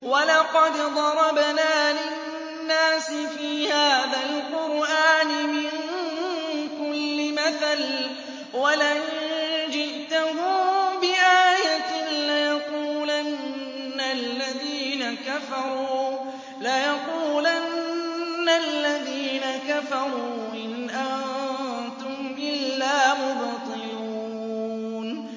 وَلَقَدْ ضَرَبْنَا لِلنَّاسِ فِي هَٰذَا الْقُرْآنِ مِن كُلِّ مَثَلٍ ۚ وَلَئِن جِئْتَهُم بِآيَةٍ لَّيَقُولَنَّ الَّذِينَ كَفَرُوا إِنْ أَنتُمْ إِلَّا مُبْطِلُونَ